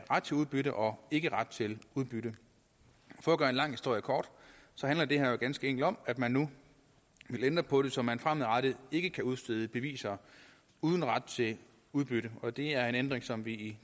ret til udbytte og ikke ret til udbytte for at gøre en lang historie kort handler det her ganske enkelt om at man nu vil ændre på det så man fremadrettet ikke kan udstede beviser uden ret til udbytte og det er en ændring som vi i